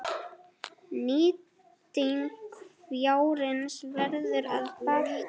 Nýting fjárins verður að batna.